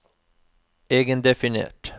egendefinert